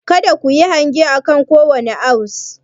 Kada ku yi hange akan kowane ounce.